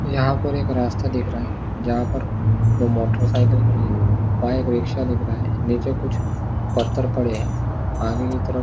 यहाँ पर एक रास्ता दिख रहा है जहाँ पर वो मोटर साईकल खड़ी है वहाँ एक रीक्षा दिख रहा है नीचे कुछ पत्थर पड़े है आगे की तरफ--